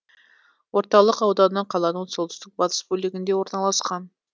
орталық ауданы қаланың солтүстік батыс бөлігінде орналасады